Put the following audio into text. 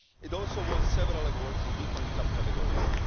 It also won several awards in different subcategories.